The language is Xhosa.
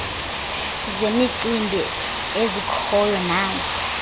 zemicimbi ezikhoyo nazo